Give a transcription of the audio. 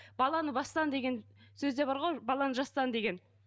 баланы бастан деген сөз де бар ғой баланы жастан деген